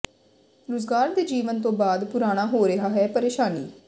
ਰੁਜ਼ਗਾਰ ਦੇ ਜੀਵਨ ਤੋਂ ਬਾਅਦ ਪੁਰਾਣਾ ਹੋ ਰਿਹਾ ਹੈ ਪਰੇਸ਼ਾਨੀ